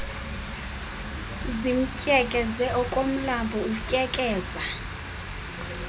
zimtyekeze okomlambo utyekeza